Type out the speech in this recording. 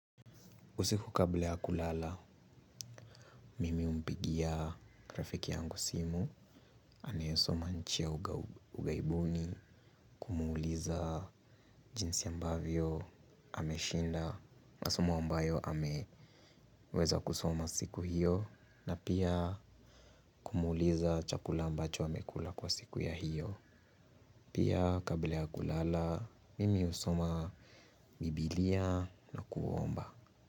Usiku kabla ya kulala, mimi humpigia rafiki yangu simu, aneyesoma nchi ya ughaibuni, kumuuliza jinsi ambavyo, ameshinda, masomo ambayo ameweza kusoma siku hiyo, na pia kumuuliza chakula ambacho amekula kwa siku ya hiyo. Pia kabla ya kulala, mimi husoma Bibilia na kuomba.